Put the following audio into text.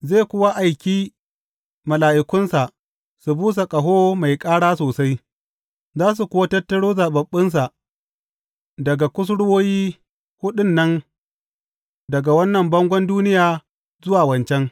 Zai kuwa aiki mala’ikunsa su busa ƙaho mai ƙara sosai, za su kuwa tattaro zaɓaɓɓunsa daga kusurwoyi huɗun nan, daga wannan bangon duniya zuwa wancan.